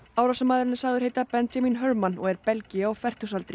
árásarmaðurinn er sagður heita Benjamin Herman og er belgi á fertugsaldri